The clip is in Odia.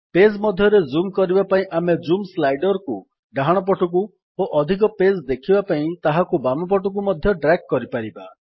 ପେଜ୍ ମଧ୍ୟରେ ଜୁମ୍ କରିବା ପାଇଁ ଆମେ ଜୁମ୍ ସ୍ଲାଇଡର୍ କୁ ଡାହାଣ ପଟକୁ ଓ ଅଧିକ ପେଜ୍ ଦେଖିବା ପାଇଁ ତାହାକୁ ବାମ ପଟକୁ ମଧ୍ୟ ଡ୍ରାଗ୍ କରିପାରିବା